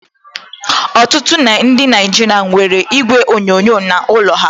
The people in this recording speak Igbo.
Ọtụtụ ndị Naijiria nwere igwe onyonyo n'ụlọ ha